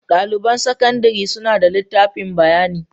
Daliban sakandare suna da litafin bayani.